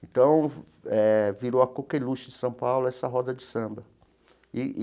Então eh, virou a coqueluche de São Paulo essa roda de samba e e.